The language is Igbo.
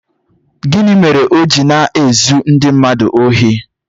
Gịnị mere o ji na-ezu ndị mmadụ ohi?